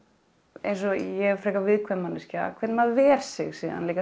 eins og ég er frekar viðkvæm manneskja hvernig maður ver sig síðan líka